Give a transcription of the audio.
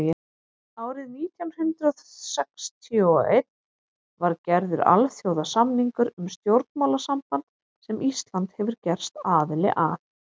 árið nítján hundrað sextíu og einn var gerður alþjóðasamningur um stjórnmálasamband sem ísland hefur gerst aðili að